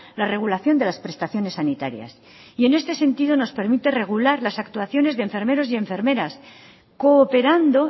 la regulación de las prestaciones sanitarias en este sentido nos permite regular las actuaciones de enfermeros y enfermeras cooperando